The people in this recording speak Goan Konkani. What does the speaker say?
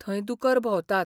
थंय दुकर भोंवतात.